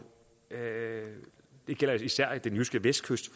det gælder især den jyske vestkyst